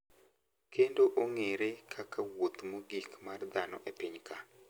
Kendo ong`ere kaka wuoth mogik mar dhano e piny ka.